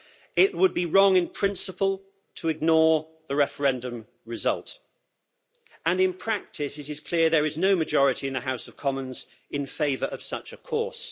It would be wrong in principle to ignore the referendum result and, in practice, it is clear there is no majority in the House of Commons in favour of such a course.